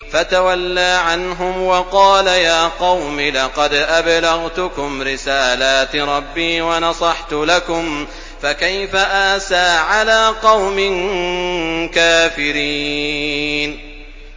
فَتَوَلَّىٰ عَنْهُمْ وَقَالَ يَا قَوْمِ لَقَدْ أَبْلَغْتُكُمْ رِسَالَاتِ رَبِّي وَنَصَحْتُ لَكُمْ ۖ فَكَيْفَ آسَىٰ عَلَىٰ قَوْمٍ كَافِرِينَ